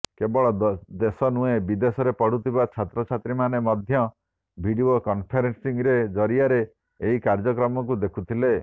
କେବଳ ଦେଶ ନୁହେଁ ବିଦେଶରେ ପଢ଼ୁଥିବା ଛାତ୍ରୀଛାତ୍ରମାନେ ମଧ୍ୟ ଭିଡିଓ କନଫରେନ୍ସିଂ ଜରିଆରେ ଏହି କାର୍ଯ୍ୟକ୍ରମକୁ ଦେଖିଥିଲେ